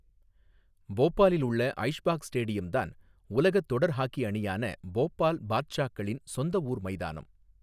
போபாலில் உள்ள ஐஷ்பாக் ஸ்டேடியம் தான் உலகத் தொடர் ஹாக்கி அணியான போபால் பாத்ஷாக்களின் சொந்த ஊர் மைதானம்.